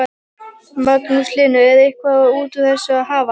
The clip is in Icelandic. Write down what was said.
Magnús Hlynur: Er eitthvað út úr þessu að hafa?